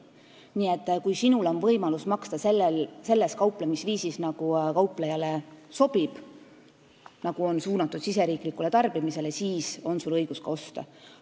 Nii et kui sul on võimalus maksta seda kauplemisviisi kasutades, mis kauplejale sobib ja mis on suunatud riigisisesele tarbimisele, siis on sul õigus ka osta.